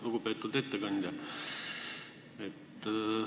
Lugupeetud ettekandja!